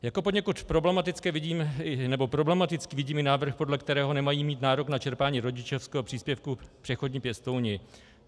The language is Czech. Jako poněkud problematický vidím i návrh, podle kterého nemají mít nárok na čerpání rodičovského příspěvku přechodní pěstouni.